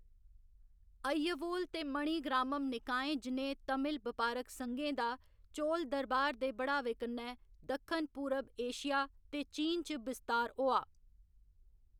अय्यवोल ते मणिग्रामम निकायें जनेह् तमिल बपारक संघें दा चोल दरबार दे बढ़ावे कन्नै दक्खन पूरब एशिया ते चीन च बस्तार होआ।